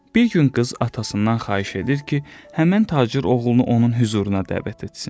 Bir gün qız atasından xahiş edir ki, həmin tacir oğlunu onun hüzuruna dəvət etsin.